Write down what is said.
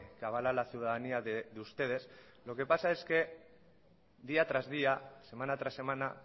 que avala la ciudadanía de ustedes lo que pasa es que día tras día semana tras semana